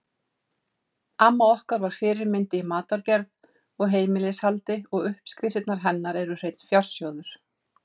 Amma var okkar fyrirmynd í matargerð og heimilishaldi og uppskriftirnar hennar eru hreinn fjársjóður.